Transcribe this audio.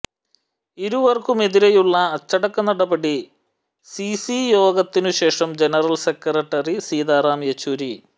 ഇരുവർക്കുമെതിരെയുള്ള അച്ചടക്ക നടപടി സിസി യോഗത്തിനുശേഷം ജനറൽ സെക്രട്ടറി സീതാറാം യച്ചൂരി